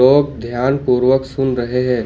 लोग ध्यानपूर्वक सुन रहे हैं।